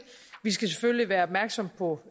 vi skal selvfølgelig være opmærksomme på